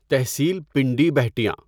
تحصیل Pindi Bhattian